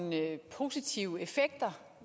positive effekter